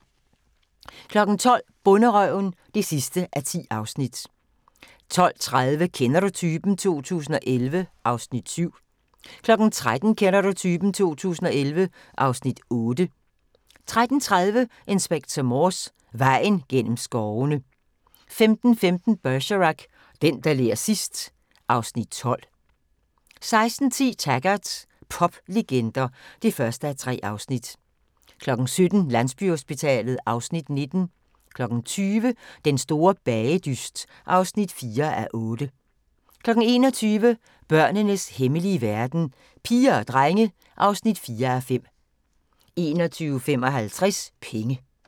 12:00: Bonderøven (10:10) 12:30: Kender du typen? 2011 (Afs. 7) 13:00: Kender du typen? 2011 (Afs. 8) 13:30: Inspector Morse: Vejen gennem skovene 15:15: Bergerac: Den, der ler sidst ... (Afs. 12) 16:10: Taggart: Poplegender (1:3) 17:00: Landsbyhospitalet (Afs. 19) 20:00: Den store bagedyst (4:8) 21:00: Børnenes hemmelige verden – Piger og drenge (4:5) 21:55: Penge